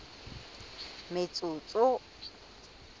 metsotso